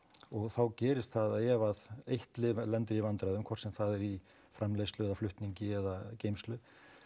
og þá gerist það að ef eitt lyf lendir í vandræðum hvort sem það er í framleiðslu eða flutningi eða geymslu